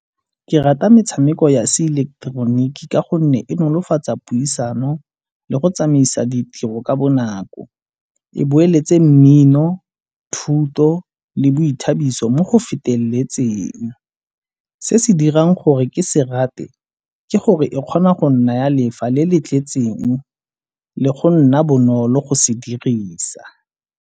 Ke rata metshameko ya se ileketeroniki ka gonne e nolofatsa puisano le go tsamaisa ditiro ka bonako. E boleletse mmino, thuto le boithabiso mo go feteletseng. Se se dirang gore ke se rate ke gore e kgona go nnaya lefa le le tletseng le go nna bonolo go se dirisa.